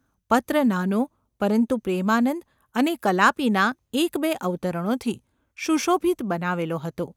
પત્ર નાનો પરંતુ પ્રેમાનંદ અને કલાપીનાં એકબે અવતરણોથી શુશોભિત બનાવેલો હતો.